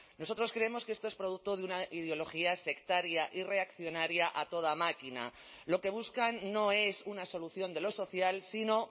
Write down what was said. nosotros creemos que esto es producto de una ideología sectaria y reaccionaria a toda máquina lo que buscan no es una solución de lo social sino